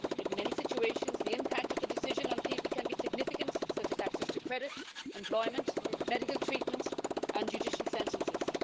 In many situations, the impact of the decision on people can be significant, such as access to credit, employment, medical treatment and judicial sentences.